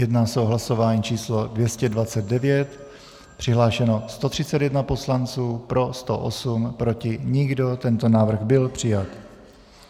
Jedná se o hlasování číslo 229, přihlášeno 131 poslanců, pro 108, proti nikdo, tento návrh byl přijat.